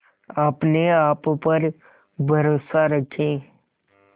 अपने आप पर भरोसा रखें